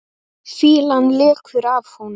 Fýlan lekur af honum.